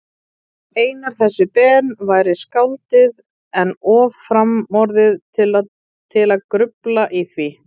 Einar þessi Ben væri skáldið, en of framorðið til að grufla í því.